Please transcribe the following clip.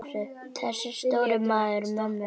Þessi stóri maður mömmu minnar.